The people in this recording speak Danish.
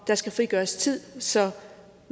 der skal frigøres tid så